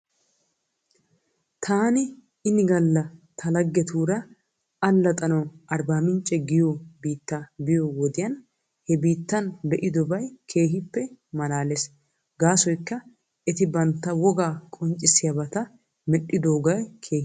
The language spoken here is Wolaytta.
Taani ini gala ta laggetura allaxanawu Arbaamicce giyoo biitta biyoo wodiyan he biittan be'idobay keehoppe mallaales, gaasoykka eti bantta wogaa qonccissiyaabata medhdhidooge keehippe lo'es.